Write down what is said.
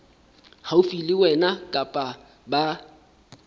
haufi le wena kapa ba